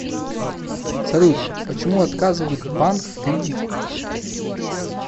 салют почему отказывают банк в кредите